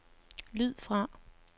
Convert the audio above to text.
lyd fra